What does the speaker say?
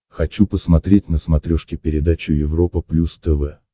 хочу посмотреть на смотрешке передачу европа плюс тв